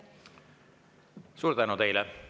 Suur tänu teile!